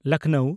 ᱞᱚᱠᱷᱱᱚᱣ